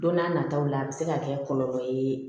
Don n'a nataw la a bɛ se ka kɛ kɔlɔlɔ ye